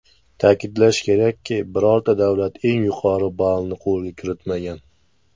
Ta’kidlash kerakki, birorta davlat eng yuqori ballni qo‘lga kiritmagan.